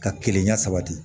Ka kilenya sabati